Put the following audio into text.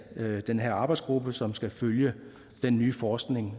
den her arbejdsgruppe som skal følge den nye forskning